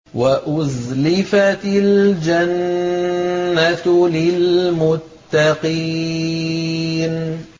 وَأُزْلِفَتِ الْجَنَّةُ لِلْمُتَّقِينَ